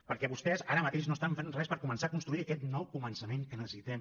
perquè vostès ara mateix no estan fent res per començar a construir aquest nou començament que necessitem